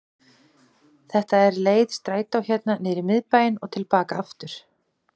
Þetta er leið strætó hérna niður í miðbæinn og til baka aftur.